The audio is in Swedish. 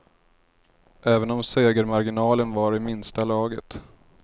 Även om segermarginalen var i minsta laget.